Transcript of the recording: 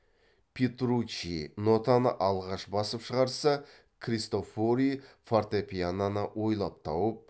петруччи нотаны алғаш басып шығарса кристофори фортепианоны ойлап тауып